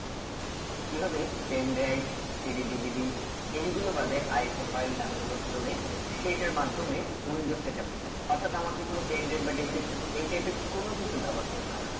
কি ভাবে pendrive CD DVD এই গুলো বাদে iso file download করে সেইটার মাধ্যমে পুঞ্জ setup টিকে অর্থাৎ আমাকে কোনো pendrive বা dvd এই type এর কোনো কিছু ব্যবহার করতে হবে না